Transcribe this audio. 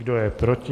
Kdo je proti?